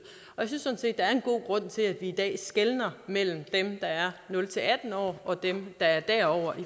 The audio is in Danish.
og jeg synes er en god grund til at vi i dag skelner mellem dem der er nul atten år og dem der er derover